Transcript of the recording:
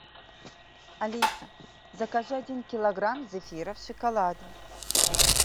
алиса закажи один килограмм зефира в шоколаде